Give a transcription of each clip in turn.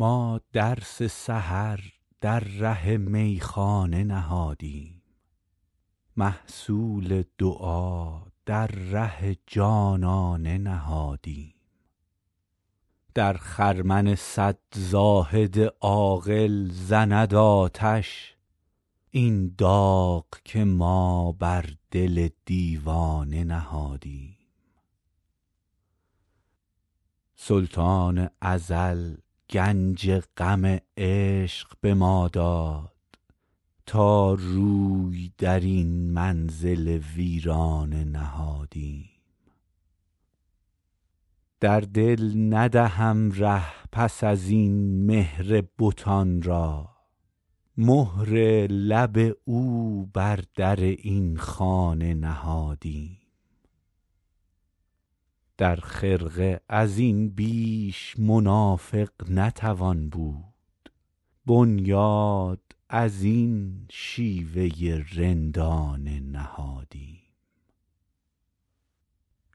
ما درس سحر در ره میخانه نهادیم محصول دعا در ره جانانه نهادیم در خرمن صد زاهد عاقل زند آتش این داغ که ما بر دل دیوانه نهادیم سلطان ازل گنج غم عشق به ما داد تا روی در این منزل ویرانه نهادیم در دل ندهم ره پس از این مهر بتان را مهر لب او بر در این خانه نهادیم در خرقه از این بیش منافق نتوان بود بنیاد از این شیوه رندانه نهادیم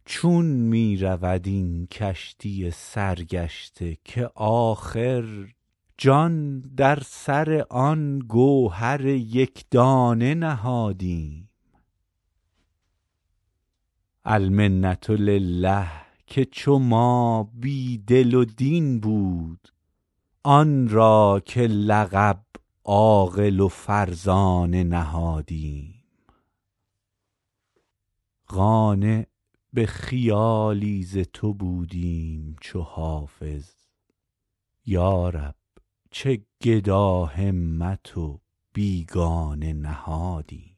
چون می رود این کشتی سرگشته که آخر جان در سر آن گوهر یک دانه نهادیم المنة لله که چو ما بی دل و دین بود آن را که لقب عاقل و فرزانه نهادیم قانع به خیالی ز تو بودیم چو حافظ یا رب چه گداهمت و بیگانه نهادیم